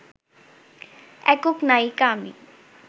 একক নায়িকা আমি